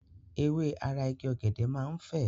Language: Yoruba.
Ewé ara Igi ọ̀gẹ̀dẹ̀ máa ń fè.